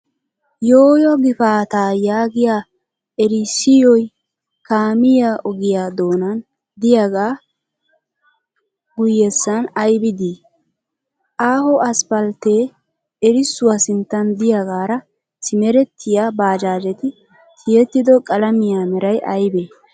"Yooyo gifaataa"yaagiya erissoy kaaamiyaa ogiya doonan diyagaa guyyessan ayibi dii? Aaho aspalttee erissuwa sinttan diyagaara simerettiyaa baajaajeti tiyettido qalamiya meray ayibee?